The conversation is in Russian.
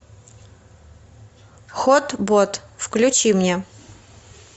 хот бот включи мне